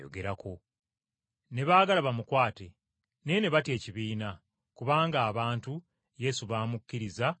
Ne baagala bamukwate, naye ne batya ekibiina, kubanga abantu Yesu baamukkiriza, nga nnabbi.